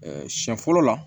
siɲɛ fɔlɔ la